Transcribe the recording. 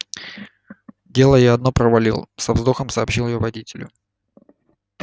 дело я одно провалил со вздохом сообщил я водителю